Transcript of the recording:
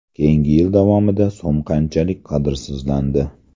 Keyingi yil davomida so‘m qanchalik qadrsizlandi?